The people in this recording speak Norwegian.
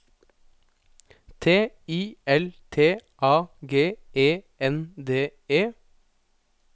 T I L T A G E N D E